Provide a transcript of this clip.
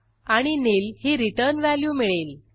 आणि निल ही return value मिळेल